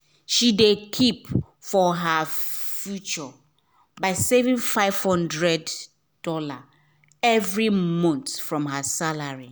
she de keep for her future by saving five hundred dollars every month from her salary